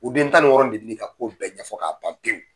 O den tan ni wɔɔrɔ nin de bɛ n'i ka kow bɛɛ ɲɛfɔ k'a ban pewu.